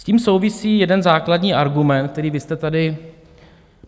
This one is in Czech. S tím souvisí jeden základní argument, který vy jste tady...